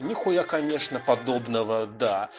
нехуя конечно подобного да